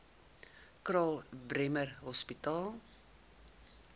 karl bremer hospitaal